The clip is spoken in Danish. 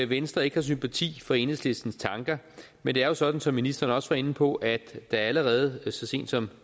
venstre ikke har sympati for enhedslistens tanker men det er jo sådan som ministeren også var inde på at der allerede så sent som